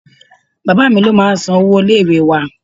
Bàbáà mi ló máa ń san owó ilé ìwée wá.